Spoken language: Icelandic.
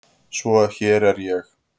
Svo hér er ég.